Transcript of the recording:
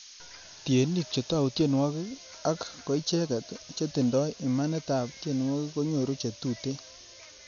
Tienik che tou tienwogik ak koicheget chetindoi imanitab tienwogik konyoru che tuten.